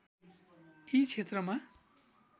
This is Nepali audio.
यी क्षेत्रमा